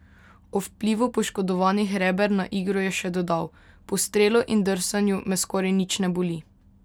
O vplivu poškodovanih reber na igro je še dodal: "Po strelu in drsanju me skoraj nič ne boli.